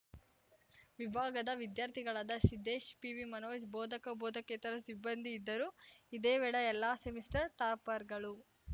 ವಿಭಾಗದ ವಿದ್ಯಾರ್ಥಿಗಳಾದ ಸಿದ್ದೇಶ್‌ ಪಿವಿಮನೋಜ್‌ ಬೋಧಕಬೋಧಕೇತರ ಸಿಬ್ಬಂದಿ ಇದ್ದರು ಇದೇ ವೇಳೆ ಎಲ್ಲಾ ಸೆಮಿಸ್ಟರ್‌ ಟಾಪರ್‌ಗಳು